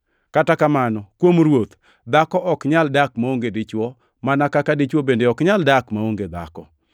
Kata kamano, kuom Ruoth, dhako ok nyal dak maonge dichwo mana kaka dichwo bende ok nyal dak maonge dhako.